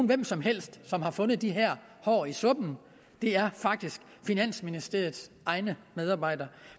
hvem som helst som har fundet de her hår i suppen det er faktisk finansministeriets egne medarbejdere